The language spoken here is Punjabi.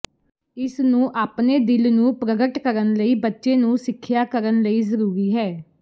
ਇਸ ਨੂੰ ਆਪਣੇ ਦਿਲ ਨੂੰ ਪ੍ਰਗਟ ਕਰਨ ਲਈ ਬੱਚੇ ਨੂੰ ਸਿੱਖਿਆ ਕਰਨ ਲਈ ਜ਼ਰੂਰੀ ਹੈ